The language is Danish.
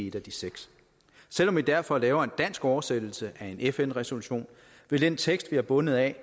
et af de seks selv om vi derfor laver en dansk oversættelse af en fn resolution vil den tekst vi er bundet af